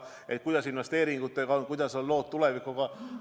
Et kuidas investeeringutega on, kuidas on lood tulevikuga.